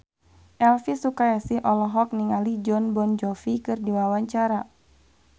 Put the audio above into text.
Elvi Sukaesih olohok ningali Jon Bon Jovi keur diwawancara